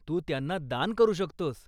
तू त्यांना दान करू शकतोस.